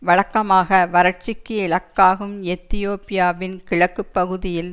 வழக்கமாக வரட்சிக்கு இலக்காகும் எத்தியோப்பியாவின் கிழக்கு பகுதியில்